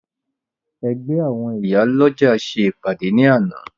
Ẹgbẹ́ àwọn Ìyálọ́jà ṣe ìpàdé ní àná